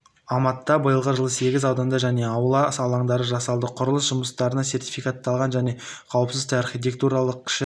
алматыда биылғы жылы сегіз ауданда жаңа аула алаңдары жасалды құрылыс жұмыстарына сертификатталған және қауіпсіз архитектуралық кіші